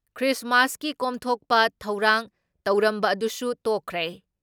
ꯈ꯭ꯔꯤꯁꯃꯥꯁꯀꯤ ꯀꯣꯝꯊꯣꯛꯕ ꯊꯧꯔꯥꯡ ꯇꯧꯔꯝꯕ ꯑꯗꯨꯁꯨ ꯇꯣꯛꯈ꯭ꯔꯦ ꯫